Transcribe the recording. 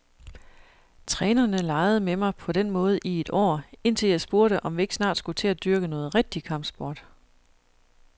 Trænerne legede med mig på den måde i et år, indtil jeg spurgte, om vi ikke snart skulle til at dyrke noget rigtig kampsport.